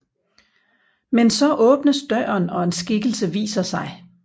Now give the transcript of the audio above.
Men så åbnes døren og en skikkelse viser sig